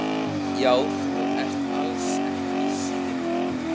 Já, þú ert alls ekki síðri.